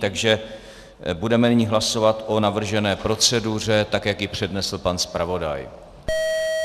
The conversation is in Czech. Takže budeme nyní hlasovat o navržené proceduře, tak jak ji přednesl pan zpravodaj.